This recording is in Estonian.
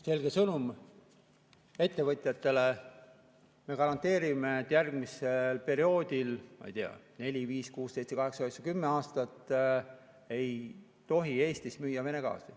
Selge sõnum ettevõtjatele: me garanteerime, et järgmisel perioodil – ma ei tea, neli, viis, kuus, seitse, kaheksa, üheksa või kümme aastat – ei tohi Eestis müüa Vene gaasi.